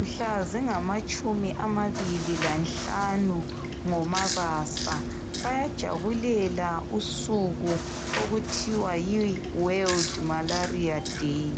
Mhla zingamatshumi amabili lanhlanu ngoMabasa. Bayajabulela usuku okuthiwa yi World Malaria Day.